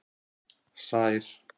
Sær